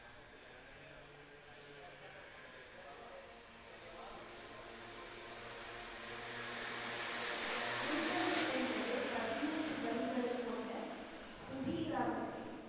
குண்வந்தி என்பது பதிமூன்று வரிகளைக் கொண்ட சுகி ராகத்தின்